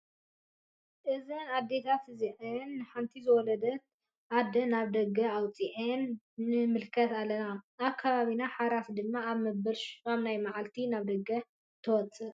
እዘን ኣዴታት እዚአን ንሓንቲ ዝወለደት ኣደ ናብ ደገ ኣውፀአንኣ ንምልከት ኣለና። ኣብ ከባቢና ሓራስ ድማ ኣብ መበል 8ይ መዓልታ ናብ ደገ ትወፅእ።